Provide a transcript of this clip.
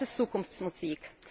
Aber das ist Zukunftsmusik.